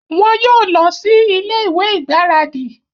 Wọn yóò lọ sí ilé-ìwé igbaradi